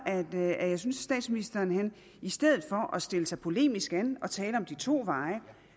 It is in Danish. jeg synes at statsministeren i stedet for at stille sig polemisk an og tale om de to veje